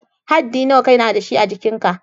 Haddi nawa ka na da shi a'jikin ka?